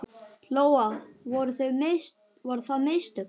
Lóa: Voru það mistök?